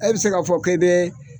Ɛ bi se k'a fɔ k'ɛ bɛ